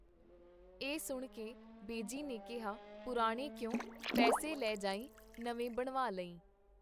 ਇਹ ਸੁਣ ਕੇ ਬੇਜੀ ਨੇ ਕੀਹਾ, ਪੁਰਾਣੇ ਕਿਉਂ, ਪੈਸੇ ਲੈ ਜਾਈਂ ਨਵੇਂ ਬਣਵਾ ਲਵੀਂ.